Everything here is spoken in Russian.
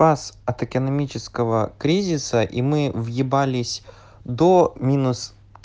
вас от экономического кризиса и мы въебались до минус